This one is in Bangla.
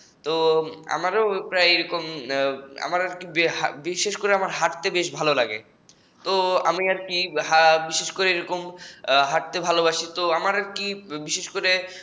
তো আমারও প্রায় এরকম বিশেষ করে আমার হাঁটতে বেশ ভালো লাগে তো আমি আর কি বিশেষ করে আমার হাটতে বেশ ভালো লাগে